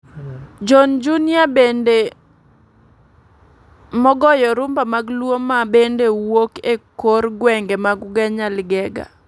John Junior bwnde magoyo Rhumba mag luo ma bende wuok e kor gwenge mag Ugenya Ligega.